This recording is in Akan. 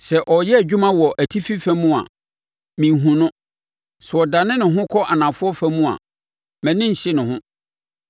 Sɛ ɔreyɛ adwuma wɔ atifi fam a, menhunu no; sɛ ɔdane ne ho kɔ anafoɔ fam a, mʼani nhye ne ho.